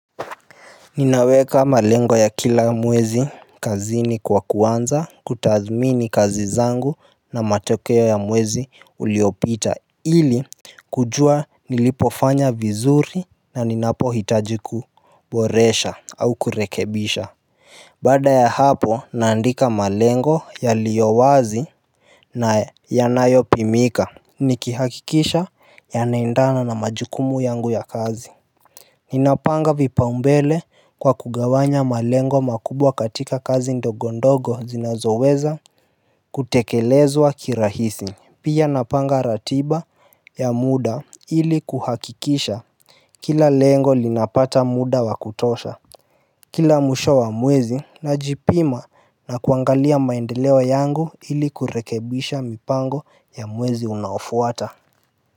Ninaweka malengo ya kila mwezi kazini kwa kuanza kutathmini kazi zangu na matokeo ya mwezi uliopita ili kujua nilipofanya vizuri na ninapohitaji kuboresha au kurekebisha Baada ya hapo naandika malengo yaliyowazi na yanayopimika Nikihakikisha yanaendana na majukumu yangu ya kazi Ninapanga vipaombele kwa kugawanya malengo makubwa katika kazi ndogondogo zinazoweza kutekelezwa kirahisi pia napanga ratiba ya muda ili kuhakikisha Kila lengo linapata muda wakutosha Kila mwisho wa mwezi najipima na kuangalia maendeleo yangu ili kurekebisha mipango ya mwezi unaofuata.